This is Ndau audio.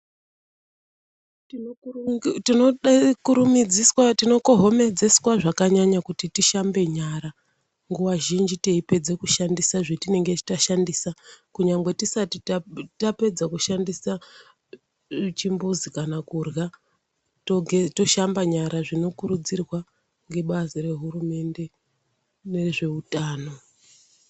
Tinokohomedzwa zvakanyanya kuti tishambe nyara nguva zhinji tichinge tapedza kushandisa zvatinenge tashandisa kunyangwe tisati tapedza kushandisa chimbuzi kana kuhya tishambe nyara zvinokurudzirwa ngebazi rehurumende nerezveutano.